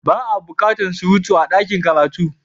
Ba a bukatar surutu a dakin karatu.